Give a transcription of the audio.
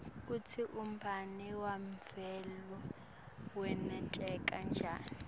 kutsi umbane wemvula wenteka njani